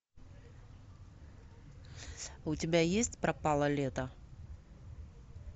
у тебя есть пропало лето